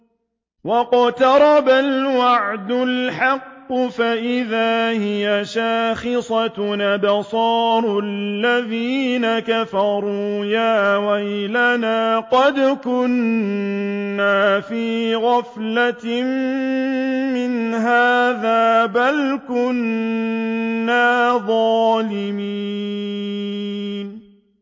وَاقْتَرَبَ الْوَعْدُ الْحَقُّ فَإِذَا هِيَ شَاخِصَةٌ أَبْصَارُ الَّذِينَ كَفَرُوا يَا وَيْلَنَا قَدْ كُنَّا فِي غَفْلَةٍ مِّنْ هَٰذَا بَلْ كُنَّا ظَالِمِينَ